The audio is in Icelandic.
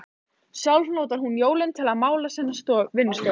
Sjálf notar hún jólin til að mála sína vinnustofu.